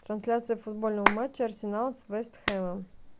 трансляция футбольного матча арсенал с вест хэмом